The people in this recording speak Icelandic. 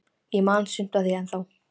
Ég man sumt af því ennþá.